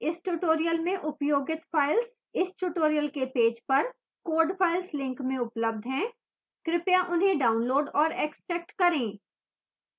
इस tutorial में उपयोगित files इस tutorial के पेज पर code files link में उपलब्ध हैं कृपया उन्हें डाउनलोड और एक्स्ट्रैक्ट करें